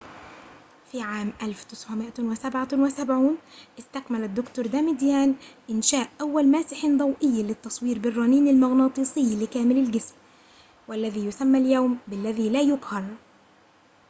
في عام 1977 استكمل الدكتور داماديان إنشاء أول ماسح ضوئي للتصوير بالرنين المغناطيسي لكامل الجسم"، والذي يسمى اليوم ب"الذي لا يقهر